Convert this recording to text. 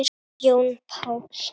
Jón Páll.